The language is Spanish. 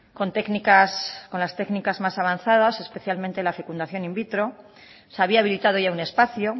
con técnicas con las técnicas más avanzadas especialmente la fecundación in vitro se había habilitado ya un espacio